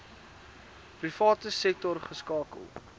private sektor geskakel